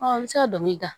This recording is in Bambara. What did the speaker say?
an bɛ se ka dɔnkili da